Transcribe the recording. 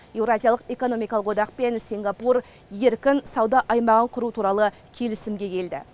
еуразиялық экономикалық одақ пен сингапур еркін сауда аймағын құру туралы келісімге келді